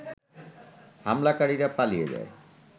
হামলাকারীরা পালিয়ে যায়